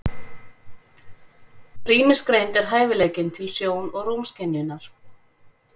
Rýmisgreind er hæfileikinn til sjón- og rúmskynjunar.